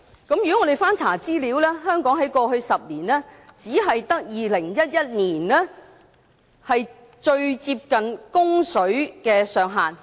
我們翻查資料，香港在過去10年，只有2011年最接近供水的上限。